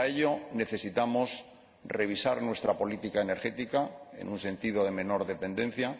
Pero, para ello, necesitamos revisar nuestra política energética en el sentido de una menor dependencia